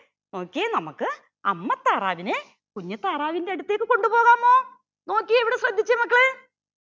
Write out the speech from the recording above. നോക്കിയേ നമ്മക്ക് അമ്മ താറാവിനെ കുഞ്ഞി താറാവിന്റെ അടുത്തേക്ക് കൊണ്ടുപോകാമോ നോക്കിയേ ഇവിടെ ശ്രദ്ധിച്ചേ മക്കളെ